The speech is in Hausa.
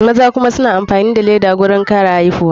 Maza kuma suna amfani da laida wurin kare aihuwa.